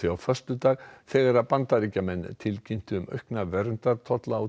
á föstudag þegar Bandaríkin tilkynntu um aukna verndartolla á